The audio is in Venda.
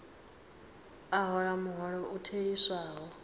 a hola muholo u theliswaho